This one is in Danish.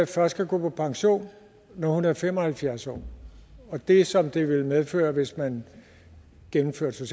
først kan gå på pension når hun er fem og halvfjerds år det som det vil medføre hvis man gennemførte